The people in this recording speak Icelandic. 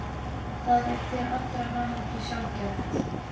Það er til allrar hamingju sjaldgæft.